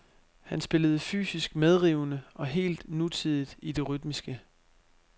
Han spillede fysisk medrivende og helt nutidigt i det rytmiske.